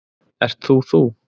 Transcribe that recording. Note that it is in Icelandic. Ert þú þú?